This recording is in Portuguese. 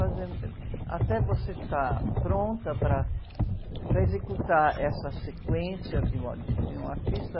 fazer, ãh, até você estar pronta para, para executar essa sequência de um a, de, de um artista,